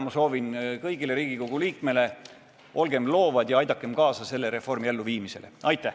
Soovin kõigile Riigikogu liikmetele: olgem loovad ja aidakem kaasa selle reformi elluviimisele!